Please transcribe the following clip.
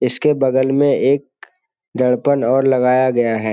इसके बगल में एक दर्पण और लगाया गया है।